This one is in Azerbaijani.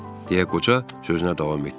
deyə qoca sözünə davam etdi.